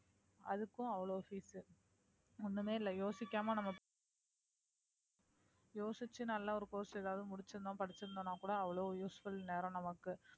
அதுக்கும் அவ்வளவு fees ஒண்ணுமே இல்லை யோசிக்காம நம்ம யோசிச்சு நல்லா ஒரு course எதாவது முடிச்சிருந்தோம் படிச்சிருந்தோம்ன்னா கூட அவ்வளவு useful இந்நேரம் நமக்கு